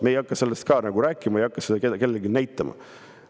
Me ei hakka sellest rääkima, ei hakka seda kellelegi näitama.